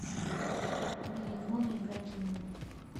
валерону ибрагимову